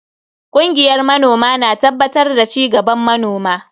Kungiyar manoma na tabbatar da cigaban manoma.